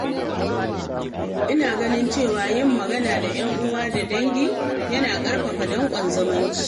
Ina ganin cewa yin magana da ‘yan'uwa da dangi yana ƙarfafa danƙon zumunci.